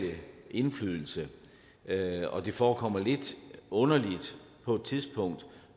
indflydelse med og det forekommer lidt underligt på et tidspunkt